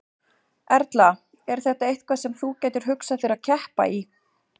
Erla: Er þetta eitthvað sem þú gætir hugsað þér að keppa í?